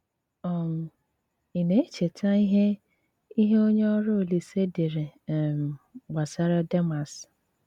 um Ị̀ na-èchè̀tà ìhè ìhè onyè ọrụ́ Òlìsè dèré um gbasàrà Dèmàs?